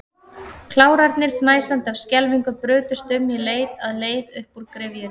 Klárarnir, fnæsandi af skelfingu, brutust um í leit að leið upp úr gryfjunni.